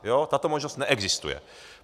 Tato možnost neexistuje.